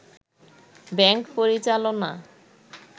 bank পরিচালনা